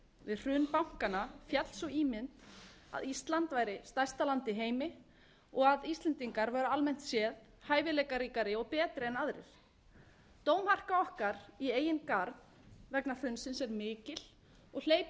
við hrun bankanna féll sú ímynd að ísland væri stærsta land í heimi og að íslendingar væru almennt séð hæfileikaríkari og betri en aðrir dómharka okkar í eigin garð vegna hrunsins er mikil og hleypur með